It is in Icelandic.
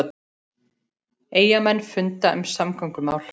Eyjamenn funda um samgöngumál